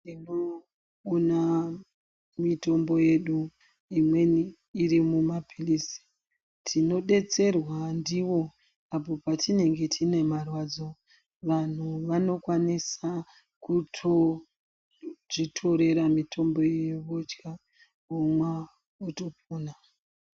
Tinoona mitombo yedu imweni iri muma phirizi tinobetserwa ndivo patinenge tine marwadzo. Vantu vanokwanisa kutozvitorera mitombo iyo vodya, kunwa votopona.